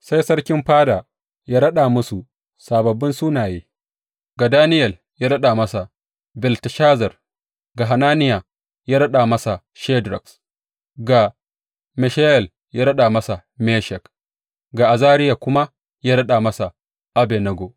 Sai sarkin fada ya raɗa musu sababbin sunaye, ga Daniyel ya raɗa masa Belteshazar; ga Hananiya ya raɗa masa Shadrak; ga Mishayel ya raɗa masa Meshak; ga Azariya kuma ya raɗa masa Abednego.